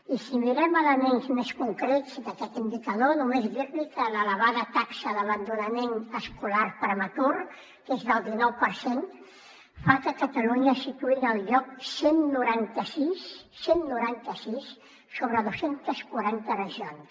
i si mirem elements més concrets d’aquest indicador només dir li que l’elevada taxa d’abandonament escolar prematur que és del dinou per cent fa que catalunya es situï en el lloc cent i noranta sis cent i noranta sis sobre dos cents i quaranta regions